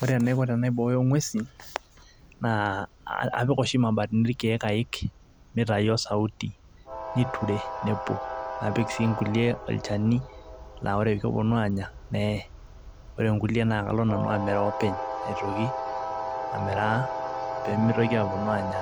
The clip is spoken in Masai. ore enaiko tenaibooyo ng'uesin naa apik oshi imabatini ayik mitayu osauti niture nepuo, napik sii nkulie olchani naa ore pee epuonu aanya neye. ore nkulie naa kalo nanu amiraa openy. aitoki amira pee meitoki aaponu anya